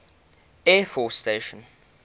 air force station